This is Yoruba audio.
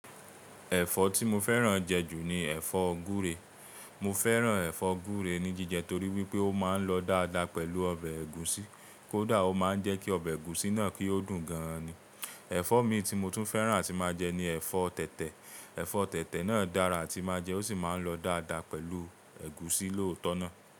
Ẹ̀fọ́ tí mo fẹ́ràn jẹ ju ni ẹ̀fọ́ gúre. Mo fẹ́ràn ẹ̀fọ́ gúre ní jíjẹ torí wípé ó máa ń lọ dáadáa pẹ̀lú ọbẹ̀ ẹ̀gúsí. Kódà ó máa ń jẹ́ kí ọbẹ̀ ẹ̀gúsí náà kí ó dùn gan ni. Ẹ̀fọ́ mi tí mo tún fẹ́ràn àti máa jẹ ni ẹ̀fọ́ tẹ̀tẹ̀. Ẹ̀fọ́ tẹ̀tẹ̀ náà dára àti máa jẹ ó sì máa ń lọ dáadáa pẹ̀lú ẹ̀gúsí lóòótọ́ náà.